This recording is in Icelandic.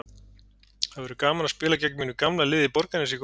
Það verður gaman að spila gegn mínu gamla liði í Borgarnesi í kvöld.